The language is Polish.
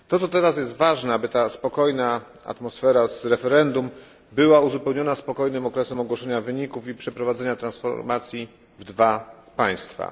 Teraz ważne jest, aby ta spokojna atmosfera z referendum była uzupełniona spokojnym okresem ogłoszenia wyników i przeprowadzenia transformacji w dwu państwach.